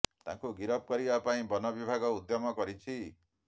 ତାଙ୍କୁ ଗିରଫ କରିବା ପାଇଁ ବନ ବିଭାଗ ଉଦ୍ୟମ କରିଛି